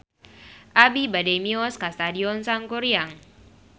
Abi bade mios ka Stadion Sangkuriang